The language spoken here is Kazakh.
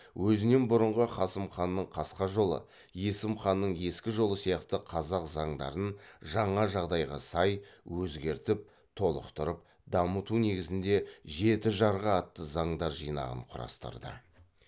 өзінен бұрынғы қасым ханның қасқа жолы есім ханның ескі жолы сияқты қазақ заңдарын жаңа жағдайға сай өзгертіп толықтырып дамыту негізінде жеті жарғы атты заңдар жинағын құрастырды